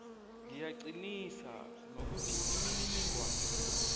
ngiyaqinisa nokuthi imininingwana